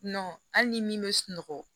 hali ni min bɛ sunɔgɔ